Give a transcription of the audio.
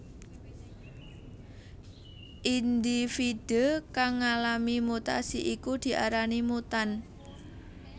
Indhividhé kang ngalami mutasi iku diarani mutan